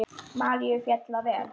Maríu féll það vel.